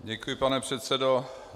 Děkuji, pane předsedo.